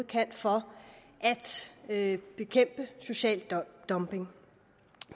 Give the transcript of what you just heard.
kan for at bekæmpe social dumping